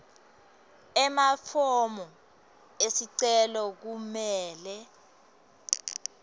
emafomu esicelo kumele